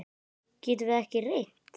Getum við ekki reynt?